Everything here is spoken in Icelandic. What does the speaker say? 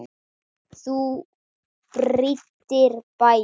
Þú prýddir bæinn.